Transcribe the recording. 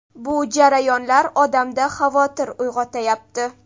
Bu jarayonlar odamda xavotir uyg‘otayapti.